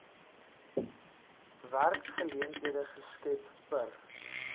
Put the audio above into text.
werksgeleenthede geskep per